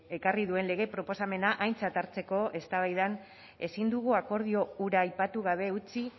ekarri duen lege proposamena aintzat hartzeko eztabaidan ezin dugu akordio hura aipatu gabe utzi